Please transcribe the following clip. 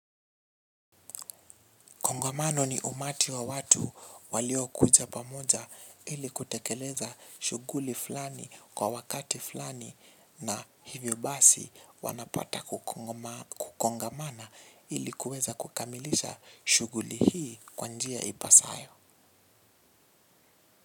Kongamano ni umati wa watu walio kuja pamoja ili kutekeleza shuguli fulani kwa wakati fulani na hivyo basi wanapata kukongamana ili kueza kukamilisha shuguli hii kwa njia ipasayo.